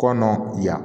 Kɔnɔ yan